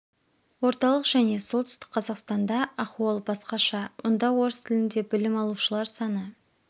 орталық және солтүстік қазақстанда ахуал басқаша онда орыс тілінде білім алушылар саны